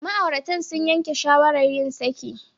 Ma'auratan sun yanke shawarar yin saki.